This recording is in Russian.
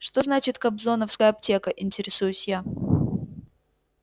что значит кобзоновская аптека интересуюсь я